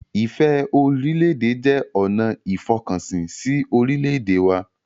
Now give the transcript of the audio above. Ìfẹ́-orílẹ̀-èdè jẹ́ ọ̀nà ìfọkànsìn si orílẹ̀-èdè wa